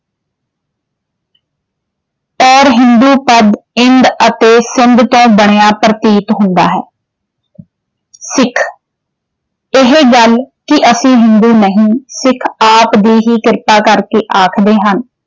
ਔਰ ਹਿੰਦੂ ਪਦ ਇੰਦ ਅਤੇ ਸਿੰਧ ਤੋਂ ਬਣਿਆ ਪ੍ਰਤੀਤ ਹੁੰਦਾ ਹੈ ਸਿੱਖ ਇਹ ਗੱਲ ਕਿ ਅਸੀਂ ਹਿੰਦੂ ਨਹੀਂ ਸਿੱਖ ਆਪ ਦੀ ਹੀ ਕ੍ਰਿਪਾ ਕਰਕੇ ਆਖਦੇ ਹਨ